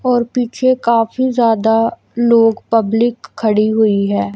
और पीछे काफी ज्यादा लोग पब्लिक खड़ी हुई हैं।